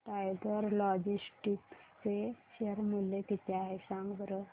tiger Logistics चे share मूल्य किती आहे सांगा बरं